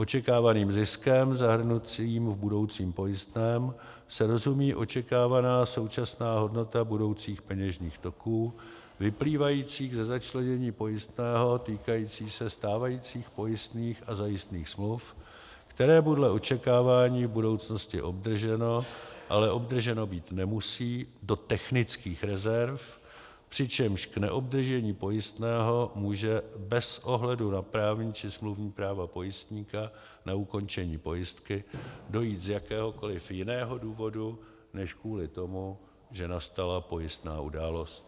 Očekávaným ziskem zahrnujícím v budoucím pojistném se rozumí očekávaná současná hodnota budoucích peněžních toků vyplývajících ze začlenění pojistného týkajícího se stávajících pojistných a zajistných smluv, které podle očekávání v budoucnosti obdrženo, ale obdrženo být nemusí, do technických rezerv, přičemž k neobdržení pojistného může bez ohledu na právní či smluvní práva pojistníka na ukončení pojistky dojít z jakéhokoliv jiného důvodu než kvůli tomu, že nastala pojistná událost.